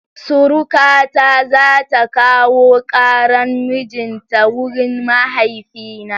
Surukata za ta kawo ƙaran mijin ta wurin mahaifina.